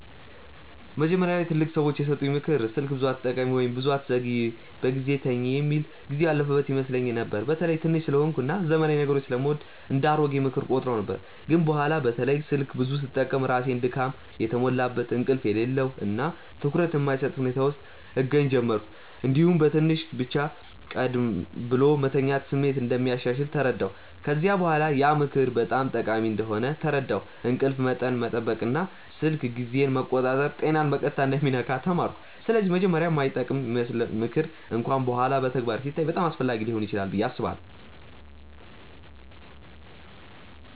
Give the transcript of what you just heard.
መጀመሪያ ላይ ትላልቅ ሰዎች የሰጡኝ “ምክር ስልክ ብዙ አትጠቀሚ” ወይም “ብዙ አትዘግይ በጊዜ ተኝ” የሚል ጊዜው ያለፈበት ይመስለኝ ነበር። በተለይ ትንሽ ስለሆንኩ እና ዘመናዊ ነገሮችን ስለምወድ እንደ “አሮጌ ምክር” እቆጥረው ነበር። ግን በኋላ በተለይ ስልክ ብዙ ስጠቀም ራሴን ድካም የተሞላበት፣ እንቅልፍ የሌለው እና ትኩረት የማይሰጥ ሁኔታ ውስጥ እገኛ ጀመርሁ። እንዲሁም በትንሽ ብቻ ቀደም ብሎ መተኛት ስሜት እንደሚያሻሽል ተረዳሁ። ከዚያ በኋላ ያ ምክር በጣም ጠቃሚ እንደሆነ ተረዳሁ፤ እንቅልፍ መጠን መጠበቅ እና ስልክ ጊዜን መቆጣጠር ጤናን በቀጥታ እንደሚነካ ተማርኩ። ስለዚህ መጀመሪያ የማይጠቅም ይመስለው ምክር እንኳን በኋላ በተግባር ሲታይ በጣም አስፈላጊ ሊሆን ይችላል ብዬ አስባለሁ።